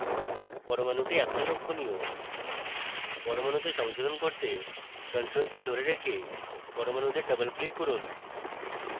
পরমাণুটি এখন লক্ষণীয় পরমাণুতে সংশোধন করতে ctrl key ধরে রেখে পরমাণুতে double click করুন